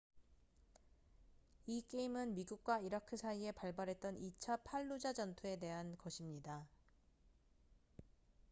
이 게임은 미국과 이라크 사이에 발발했던 2차 팔루자 전투에 대한 것입니다